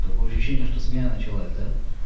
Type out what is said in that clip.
такое ощущение что смена началась да